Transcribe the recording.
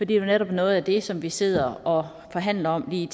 det er jo netop noget af det som vi sidder og forhandler om lige